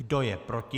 Kdo je proti?